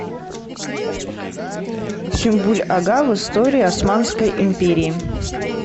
сюмбюль ага в истории османской империи